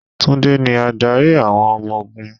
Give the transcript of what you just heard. Tunde ni adarí àwọn ọmọ ogún.